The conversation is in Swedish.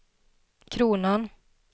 kronan